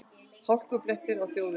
Hálkublettir á þjóðvegum